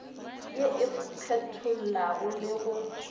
ye e kgethollago le go